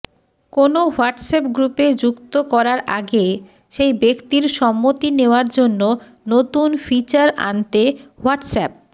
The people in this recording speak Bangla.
কোনও হোয়াটসঅ্যাপ গ্রুপে যুক্ত করার আগে সেই ব্যক্তির সম্মতি নেওয়ার জন্য নতুন ফিচার আনতে হোয়াটসঅ্যাপ